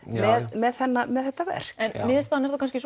með með þetta verk en niðurstaðan er þá kannski